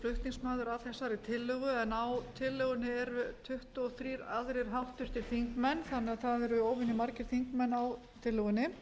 flutningsmaður á þessari tillögu en á tillögunni eru tuttugu og þrír aðrir háttvirtir þingmenn þannig að það eru óvenju margir þingmenn á tillögunni